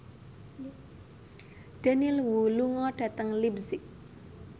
Daniel Wu lunga dhateng leipzig